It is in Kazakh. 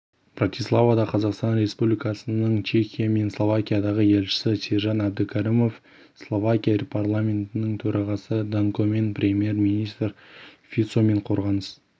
братиславада қазақстан республикасының чехия мен словакиядағы елшісі сержан әбдікәрімов словакия парламентінің төрағасы данкомен премьер-министр фицомен қорғаныс